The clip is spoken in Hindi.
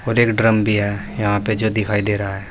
और एक ड्रम भी है यहां पे जो दिखाई दे रहा है।